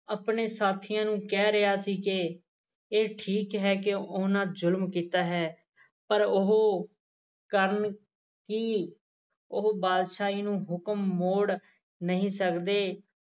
ਆਪਣੇ ਸਾਥੀਆ ਨੂੰ ਕਹਿ ਰਿਹਾ ਸੀ ਕਿ ਇਹ ਠੀਕ ਹੈ ਕਿ ਉਹਨਾਂ ਜੁਲ਼ਮ ਕੀਤਾ ਹੈ ਪਰ ਉਹ ਕਰਨ ਕੀ ਉਹ ਬਾਦਸ਼ਾਹੀ ਨੂੰ ਹੁਕਮ ਮੋੜ ਨਹੀ ਸਕਦੇ